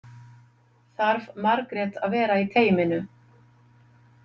Þarf Margrét að vera í teyminu?